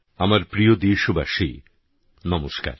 আমার প্রিয় দেশবাসী নমস্কার